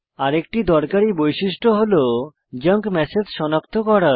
আরেকটি দরকারী বৈশিষ্ট্য হল জাঙ্ক ম্যাসেজ সনাক্ত করা